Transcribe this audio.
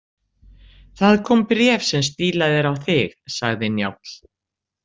Það kom bréf sem er stílað á þig, sagði Njáll.